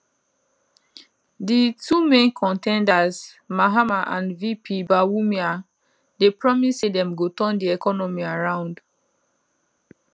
di two main con ten ders mahama and vp bawumia dey promise say dem go turn di economy around